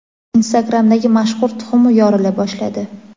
Instagram’dagi mashhur tuxum yorila boshladi.